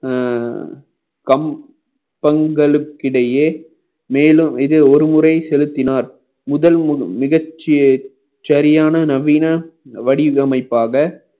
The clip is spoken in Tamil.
அஹ் பங்~ பங்களுக்கிடையே மேலும் இது ஒருமுறை செலுத்தினார் முதல் மிக ச~ சரியான நவீன வடிவமைப்பாக